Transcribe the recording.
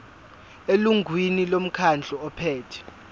elungwini lomkhandlu ophethe